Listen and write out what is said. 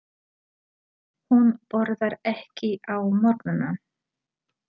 Hún borðar ekki á morgnana.